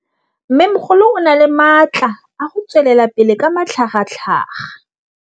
Mmêmogolo o na le matla a go tswelela pele ka matlhagatlhaga.